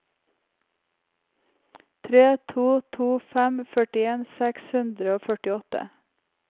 tre to to fem førtien seks hundre og førtiåtte